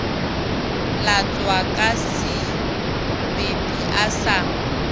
latswa ka sebepi a sa